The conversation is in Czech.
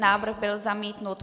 Návrh byl zamítnut.